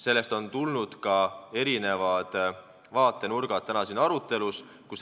Sellest ongi tulnud erinevad vaatenurgad tänases arutelus.